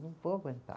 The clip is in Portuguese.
Não vou aguentar.